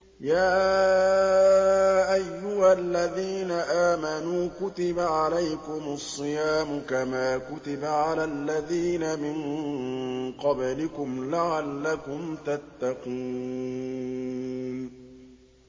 يَا أَيُّهَا الَّذِينَ آمَنُوا كُتِبَ عَلَيْكُمُ الصِّيَامُ كَمَا كُتِبَ عَلَى الَّذِينَ مِن قَبْلِكُمْ لَعَلَّكُمْ تَتَّقُونَ